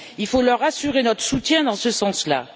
Il faut leur assurer notre soutien dans ce sens là.